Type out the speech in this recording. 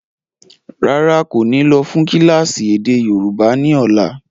Rárá, kò ní lọ́ fún kílásì èdè yóòbá ni ọ̀la.